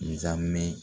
Zamɛ